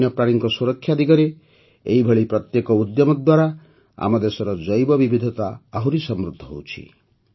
ବନ୍ୟପ୍ରାଣୀଙ୍କ ସୁରକ୍ଷା ଦିଗରେ ଏହିଭଳି ପ୍ରତ୍ୟେକ ଉଦ୍ୟମ ଦ୍ୱାରା ଆମ ଦେଶର ଜୈବବିବିଧତା ଆହୁରି ସମୃଦ୍ଧ ହେଉଛି